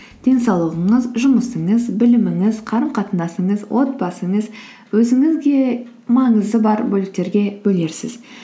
денсаулығыңыз жұмысыңыз біліміңіз қарым қатынасыңыз отбасыңыз өзіңізге маңызы бар бөліктерге бөлерсіз